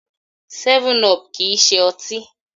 7up kìí ṣe ọtí.